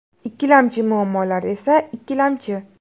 Ikkilamchi muammolar esa ikkilamchi.